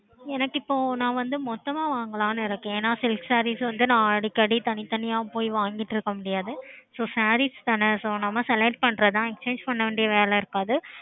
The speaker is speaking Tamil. எனக்கு இப்போ நான் வந்து மொத்தமா வாங்கலாம் இருக்கேன் நான் silk sarees வந்து அடிக்கடி போய் தனி தனியா வாங்கிட்டு இருக்க முடியாது so sarees தான நம்ப பண்றது தான் exchange